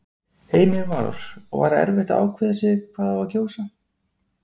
Heimir Már: Og var erfitt að ákveða sig hvað á að kjósa?